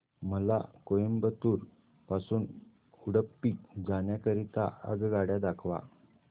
मला कोइंबतूर पासून उडुपी जाण्या करीता आगगाड्या दाखवा